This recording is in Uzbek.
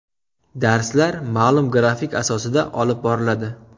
Darslar ma’lum grafik asosida olib boriladi.